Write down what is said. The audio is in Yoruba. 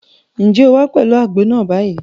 Ǹjẹ́ o wá pẹ̀lú àgbo náà báyìí?